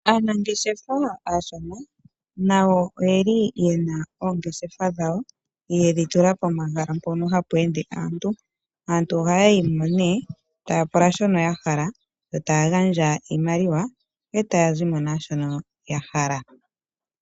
Aanangeshefa aashona nayo oye li yena oongeshefa dhawo yedhi tula pomahala mpono hapu ende aantu, aantu ohaya yi mo nee ta ya pula shono ya hala yo taya gandja iimaliwa e ta ya zimo naashono ya hala.